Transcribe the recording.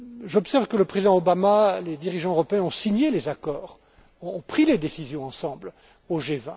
J'observe que le président Obama, les dirigeants européens ont signé les accords, ont pris les décisions ensemble au